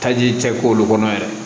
Taji cɛ k'olu kɔnɔ yɛrɛ